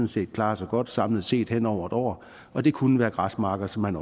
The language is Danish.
set klarer sig godt samlet set hen over et år og det kunne være græsmarker som man